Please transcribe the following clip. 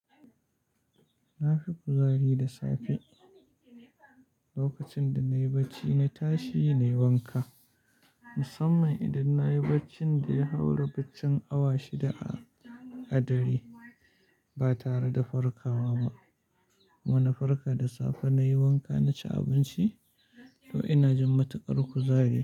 Na fi kuzari da safe. Lokacin da nayi bacci na tashi nayi wanka. Musamman idan nayi baccin da ya haura baccin awa shida a dare ba tare da farkawa ba. Wani farka da safe nayi wanka naci abinci to ina jin matukar kuzari.